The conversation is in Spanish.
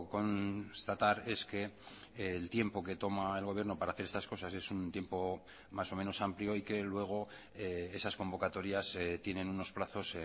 constatar es que el tiempo que toma el gobierno para hacer estas cosas es un tiempo más o menos amplio y que luego esas convocatorias tienen unos plazos